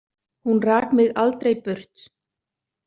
Hún rak mig aldrei burt.